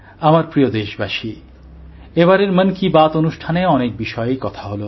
আমার প্রিয়দেশবাসী এবারের মন কি বাত অনুষ্ঠানে অনেক বিষয়েই কথা হল